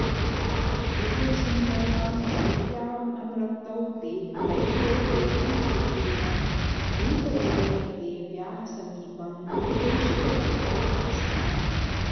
त्रिपुरसुन्दर्यां देव्यामनुरक्तौ दैत्यौ एनं सुग्रीवं दूतरूपेण देव्याः समीपं प्रेषितवन्तौ आस्ताम्